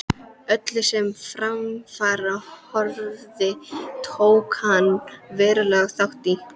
Öllu, sem til framfara horfði, tók hann verulegan þátt í.